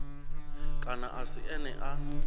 kana a si ene a